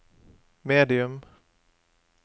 medium